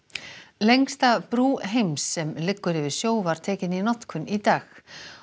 lengsta brú heims sem liggur yfir sjó var tekin í notkun í dag